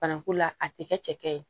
Bananku la a te kɛ cɛkɛ ye